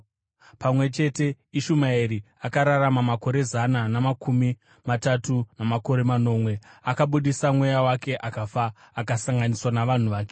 Pamwe chete, Ishumaeri akararama makore zana namakumi matatu namakore manomwe. Akabudisa mweya wake akafa, akasanganiswa navanhu vake.